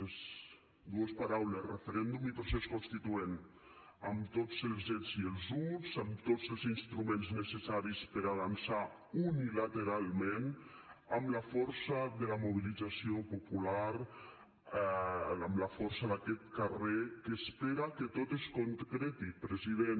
són dues paraules referèndum i procés constituent amb tots els ets i els uts amb tots els instruments necessaris per a avançar unilateralment amb la força de la mobilització popular amb la força d’aquest carrer que espera que tot es concreti president